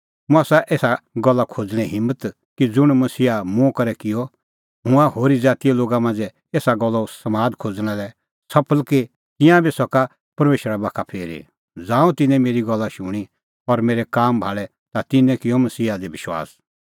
मुंह आसा एसा गल्ला खोज़णें हिम्मत कि ज़ुंण मसीहा मुंह करै किअ हुंह हुअ होरी ज़ातीए लोगा मांझ़ै एसा गल्लो समाद खोज़णा लै सफल कि तिंयां बी सका परमेशर बाखा फिरी ज़ांऊं तिन्नैं मेरी गल्ला शूणीं और मेरै काम भाल़ै ता तिन्नैं किअ मसीहा दी विश्वास